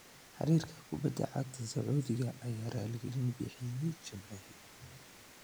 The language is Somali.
Xiriirka kubadda cagta Sacuudiga ayaa raaligelin bixiyay Jimcihii.